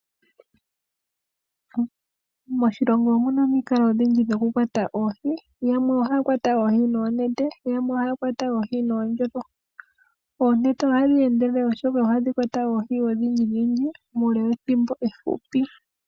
Moshilongo omuna omikalo odhindji dhoku kwata oohi, yamwe ohaya longitha oonete, yamwe ohaya longitha oondjolo. Oonete ohadhi endelele oshoka ohadhi kwata oohi odhindji muule wethimbo efupi.